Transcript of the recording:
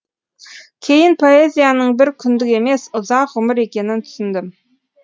кейін поэзияның бір күндік емес ұзақ ғұмыр екенін түсіндім